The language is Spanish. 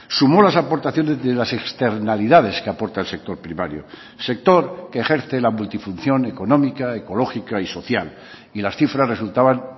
sumó las aportaciones de las externalidades que aporta el sector primario sector que ejerce la multifunción económica ecológica y social y las cifras resultaban